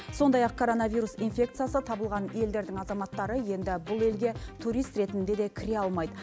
сондай ақ коронавирус инфекциясы табылған елдердің азаматтары енді бұл елге турист ретінде де кіре алмайды